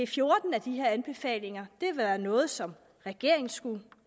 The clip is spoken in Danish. fjorten af de her anbefalinger er noget som regeringen skal